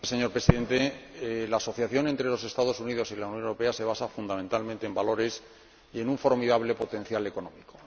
Señor Presidente, la asociación entre los Estados Unidos y la Unión Europea se basa, fundamentalmente, en valores y en un formidable potencial económico.